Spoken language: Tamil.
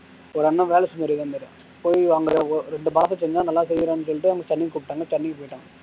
ஒரு அண்ணா வேலை செஞ்சுது இருக்காரு போய் நல்லா செய்யறான்னு சொல்லிட்டு தண்ணி போயிட்டான்